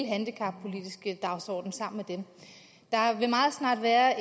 handicappolitiske dagsorden med dem der vil meget snart være